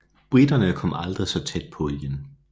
Briterne kom aldrig så tæt på igen